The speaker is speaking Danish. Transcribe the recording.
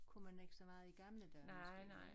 Kunne man ikke så meget i gamle dage måske vel